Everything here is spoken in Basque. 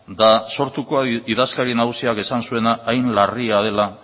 da sortuko idazkari nagusiak esan zuena hain larria dela